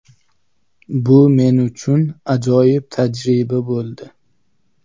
Bu men uchun ajoyib tajriba bo‘ldi.